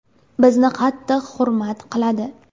Bizni qattiq hurmat qiladi.